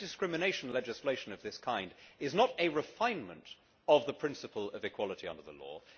Anti discrimination legislation of this kind is not a refinement of the principle of equality under the law.